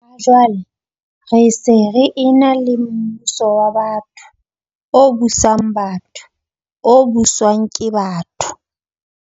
Ha jwale re se re ena le mmuso wa batho, o busang batho, o buswang ke batho.